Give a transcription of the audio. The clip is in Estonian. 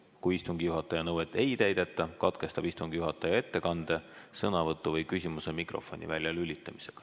Kui istungi juhataja nõuet ei täideta, katkestab istungi juhataja ettekande, sõnavõtu või küsimuse mikrofoni väljalülitamisega."